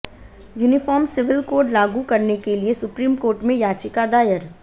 uniform civil code लागू करने के लिए सुप्रीम कोर्ट में याचिका दायर